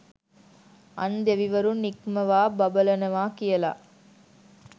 අන් දෙවිවරුන් ඉක්මවා බබලනවා කියලා.